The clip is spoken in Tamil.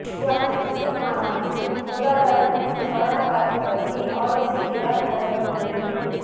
குவாட் உச்ச மாநாட்டில் பொருளாதாரம் மற்றும் கொரோனா பாதிப்பு பற்றி ஆலோசிக்கிறார் பிரதமர் மோடி